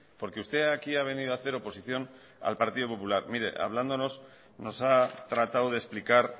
porque usted aquí ha venido a hacer oposición al partido popular mire hablándonos nos ha tratado de explicar